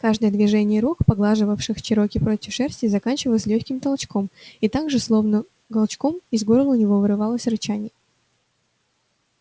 каждое движение рук поглаживавших чероки против шерсти заканчивалось лёгким толчком и так же словно голчком из горла у него вырывалось рычание